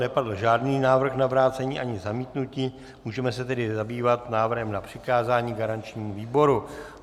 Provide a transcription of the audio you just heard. Nepadl žádný návrh na vrácení ani zamítnutí, můžeme se tedy zabývat návrhem na přikázání garančnímu výboru.